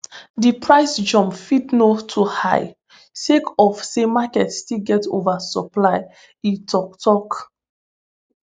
di price jump fit no too high sake of say market still get oversupply e tok tok